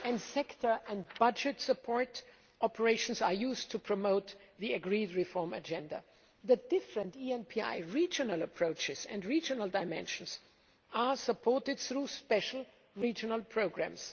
Sector and budget support operations are used to promote the agreed reform agenda. The different ENPI regional approaches and dimensions are supported through specific regional programmes.